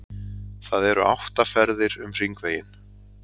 Það eru átta ferðir um Hringveginn.